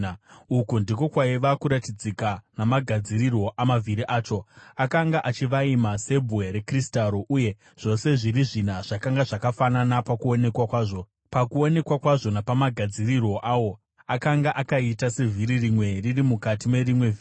Uku ndiko kwaiva kuratidzika namagadzirirwo amavhiri acho: Akanga achivaima sebwe rekristaro, uye zvose zviri zvina zvakanga zvakafanana pakuonekwa kwazvo. Pakuonekwa kwawo napamagadzirirwo awo akanga akaita sevhiri rimwe riri mukati merimwe vhiri.